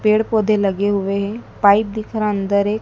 पेड़ पौधे लगे हुए है पाइप दिख रहा अंदर एक--